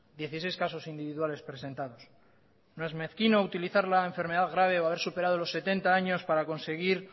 dieciseis casos individuales presentados no es mezquino utilizar la enfermedad grave o haber superado los setenta años para conseguir